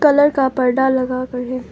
Colour का पर्दा लगाकर है।